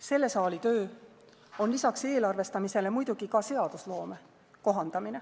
Selle saali töö on lisaks eelarvestamisele muidugi ka seadusloome kohandamine.